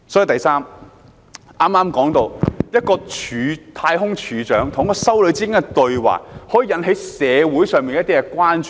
第三，剛才提及，一個太空總署署長與一位修女的對話，可以引起社會上的一些關注。